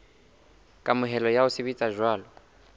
kamohelo ya ho sebetsa jwalo